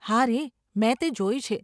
હારે, મેં તે જોઈ છે.